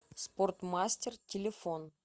спортмастер телефон